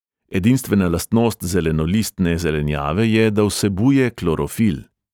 Edinstvena lastnost zelenolistne zelenjave je, da vsebuje klorofil.